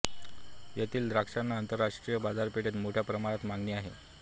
येथील द्राक्षांना आंतरराष्ट्रीय बाजारपेठेत मोठ्या प्रमाणात मागणी आहे